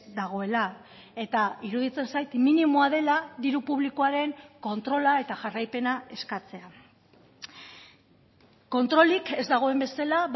dagoela eta iruditzen zait minimoa dela diru publikoaren kontrola eta jarraipena eskatzea kontrolik ez dagoen bezala